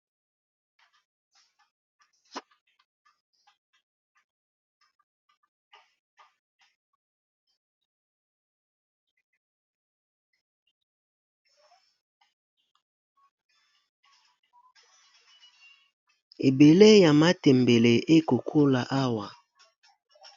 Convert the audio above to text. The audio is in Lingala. Ebele ya matembele ekokola awa.